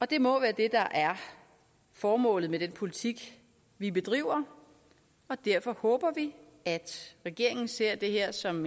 det må være det der er formålet med den politik vi bedriver og derfor håber vi at regeringen ser det her som